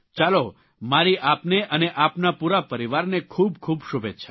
ચાલો મારી આપને અને આપના પૂરા પરિવારને ખૂબ ખૂબ શુભેચ્છાઓ